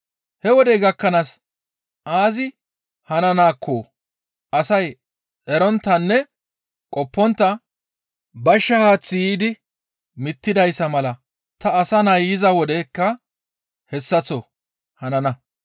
He wodey gakkanaas aazi hananaakko asay eronttanne qoppontta bashsha haaththi yiidi mittidayssa mala ta Asa Nay yiza wodeykka hessaththo hanana.